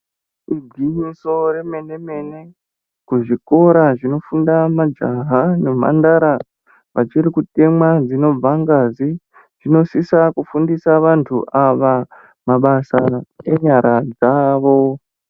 Igwinyiso remene mene kuzvikora zvinofundwa majaha nemhandara vachiri kutemwa dzinobva ngazi dzinosisa kufundisa vantu ava mabasa enyara dzavo.